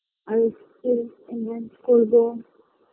Ice cream করবো